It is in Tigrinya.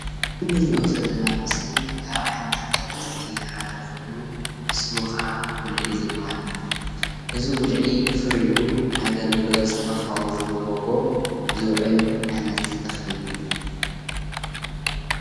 እዚ እንሪኦ ዘለና ምስሊ ካብ ዓይነታት ኣትክልቲ ሓደ ኮይኑ ስሙ ከዓ ጉልዒ ዝባሃል እዩ፡፡ እዚ ጉልዒ ፍሪኡ ንኣገልግሎት መፋወዚ መጎጎ ዝውዕል ዓይነት ተክሊ እዩ፡፡